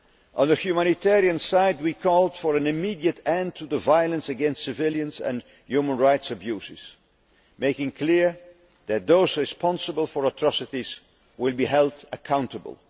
crisis. On the humanitarian side we called for an immediate end to the violence against civilians and human rights abuses, making it clear that those responsible for atrocities will be held accountable.